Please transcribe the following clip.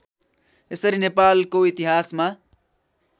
यसरी नेपालको इतिहासमा